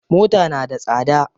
Mota na da tsada.